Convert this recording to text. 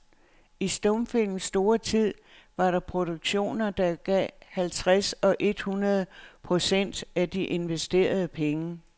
I stumfilmens store tid var der produktioner, der gav halvtreds eller et hundrede procent af de investerede penge.